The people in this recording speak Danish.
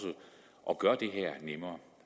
at gøre det her nemmere